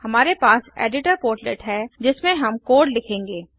हमारे पास editor portlet है जिसमें हम कोड लिखेंगे